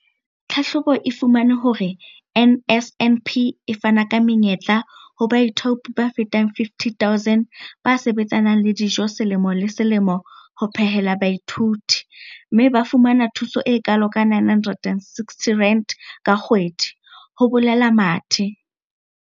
Tlhahlobo e fumane hore NSNP e fana ka menyetla ho baithaopi ba fetang 50 000 ba sebetsanang le dijo selemo le selemo ho phehela baithuti, mme ba fumana thuso e kalo ka R960 ka kgwedi, ho boletse Mathe.